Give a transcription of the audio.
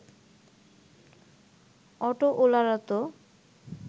অটোওলারা তো